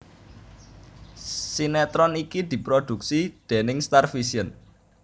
Sinetron iki diprodhuksi déning Starvision